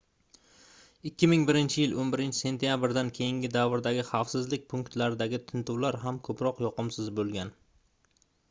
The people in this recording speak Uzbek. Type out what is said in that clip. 2001-yil 11-sentyabrdan keyingi davrdagi xavfsizlik punktlaridagi tintuvlar ham koʻproq yoqimsiz boʻlgan